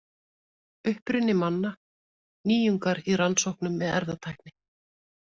Uppruni manna: Nýjungar í rannsóknum með erfðatækni.